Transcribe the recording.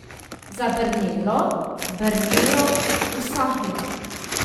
Zabrnelo, brnelo, usahnilo.